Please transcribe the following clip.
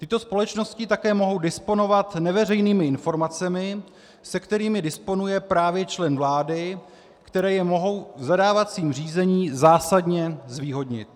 Tyto společnosti také mohou disponovat neveřejnými informacemi, se kterými disponuje právě člen vlády, které je mohou v zadávacím řízení zásadně zvýhodnit.